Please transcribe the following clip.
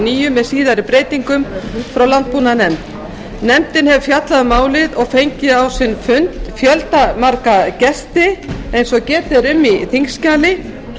níu með síðari breytingum frá landbúnaðarnefnd nefndin hefur fjallað um málið og fengið á sin fund fjöldamarga gesti eins og getið er um í þingskjali